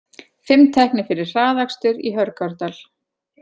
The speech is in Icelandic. Fimm teknir fyrir hraðakstur í Hörgárdal